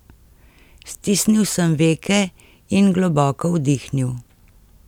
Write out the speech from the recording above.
Stisnil sem veke in globoko vdihnil.